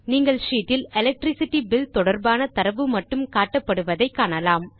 நீங்கள் ஷீட் இல் electricity bill தொடர்பான தரவு மட்டும் காட்டப்படுவதை காணலாம்